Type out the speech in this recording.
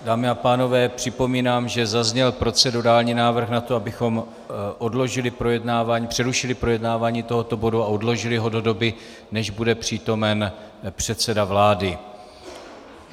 Dámy a pánové, připomínám, že zazněl procedurální návrh na to, abychom odložili projednávání, přerušili projednávání tohoto bodu a odložili ho do doby, než bude přítomen předseda vlády.